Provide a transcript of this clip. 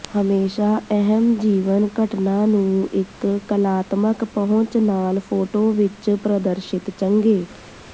ਹਮੇਸ਼ਾ ਅਹਿਮ ਜੀਵਨ ਘਟਨਾ ਨੂੰ ਇੱਕ ਕਲਾਤਮਕ ਪਹੁੰਚ ਨਾਲ ਫੋਟੋ ਵਿੱਚ ਪ੍ਰਦਰਸ਼ਿਤ ਚੰਗੇ